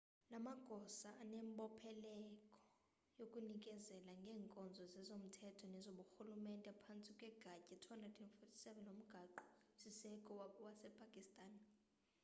la magosa anembopheleleko yokunikezela ngeenkonzo zezomthetho nezoburhulumente phantsi kwegatya 247 lomgaqo siseko wasepakistan